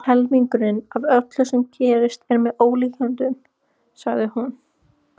Helmingurinn af öllu sem gerist er með ólíkindum, sagði hún.